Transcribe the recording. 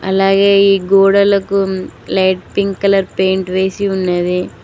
అలగే ఈ గోడలకు లైట్ పింక్ కలర్ పెయింట్ వేసి ఉన్నది.